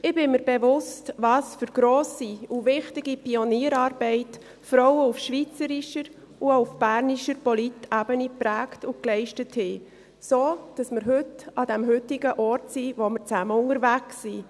Ich bin mir bewusst, welch grosse und wichtige Pionierarbeit Frauen auf schweizerisches und auch auf bernischer Politebene geprägt und geleistet haben, sodass wir heute, an dem Ort sind, wo wir zusammen unterwegs sind.